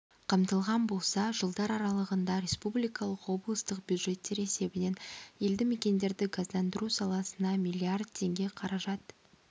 қамтылған болса жылдар аралығында республикалық облыстық бюджеттер есебінен елді мекендерді газдандыру саласына млрд теңге қаражат